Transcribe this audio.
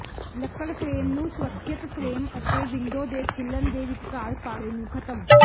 ਲੱਕੜ ਫਰੇਮ ਨੂੰ ਸੁਰੱਖਿਅਤ ਫਰੇਮ ਅਤੇ ਵਿੰਡੋ ਦੇ ਖੁੱਲਣ ਦੇ ਵਿਚਕਾਰ ਪਾੜੇ ਨੂੰ ਖ਼ਤਮ